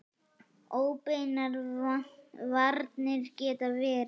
Óbeinar varnir geta verið